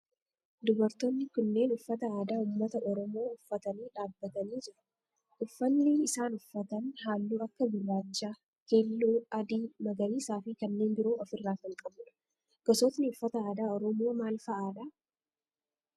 Dubartoonni kunneen uffata aadaa ummata oromoo uffatanii dhaabbatanii jiru. Uffanni isaan uffatan halluu akka gurraacha, keelloo, adii, magariisa fi kanneen biroo of irraa kan qabudha. Gosootni uffata aadaa oromoo maal fa'aadha?